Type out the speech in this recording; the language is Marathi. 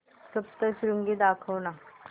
सप्तशृंगी दाखव ना